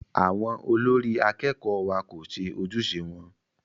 Àwọn olórí akẹ́kọ̀ọ́ wa kò ṣe ojúṣe wọn.